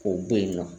O bɛ yen nɔ